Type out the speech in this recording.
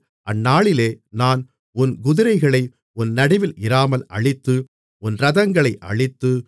அந்நாளிலே நான் உன் குதிரைகளை உன் நடுவில் இராமல் அழித்து உன் இரதங்களை அழித்து